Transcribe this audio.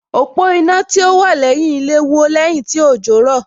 Òpó iná tí ó wà lẹ́yìn ilé wó lẹ́yìn tí òjò rọ̀